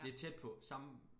Det tæt på samme